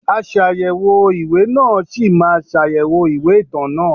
Aṣàyẹ̀wò ìwé náà a ṣì máa ṣàyẹ̀wò ìwé ìtàn náà.